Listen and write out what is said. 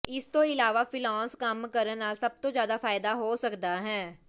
ਇਸ ਤੋਂ ਇਲਾਵਾ ਫ੍ਰੀਲਾਂਸ ਕੰਮ ਕਰਨ ਨਾਲ ਸਭ ਤੋਂ ਜ਼ਿਆਦਾ ਫ਼ਾਇਦਾ ਹੋ ਸਕਦਾ ਹੈ